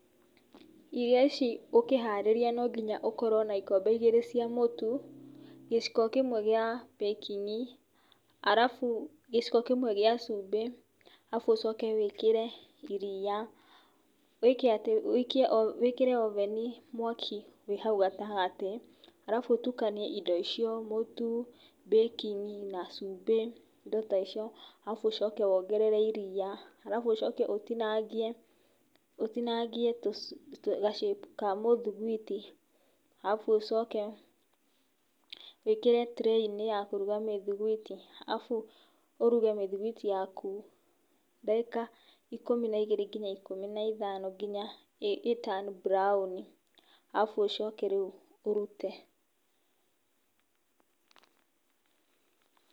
Irio ici ũkĩharĩria, no ginya ũkorũo na ikombe igĩrĩ cia mũtu, gĩciko kĩmwe kia baking arabu, gĩciko kĩmwe kĩa cumbĩ. Arabu wĩkĩre iria. Wĩkĩre oven mwaki wĩĩ hau gatagatĩ. Arabu ũtukanie indo icio; mũtu, baking na cũmbĩ arabu wongerere iria. Arabu Ũcoke ũtinangie shape ga mũthuguiti. Arabu Ũcoke wĩkĩre tray-inĩ ya kũruga mĩthuguiti. Ũruge mĩthunguiti yaku dagĩka ikũmi na igĩrĩ ginya ikũmi na ithano ginya ĩ turn brown. Arabu Ũcoke rĩu ũrute.